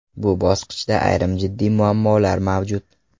Bu bosqichda ayrim jiddiy muammolar mavjud.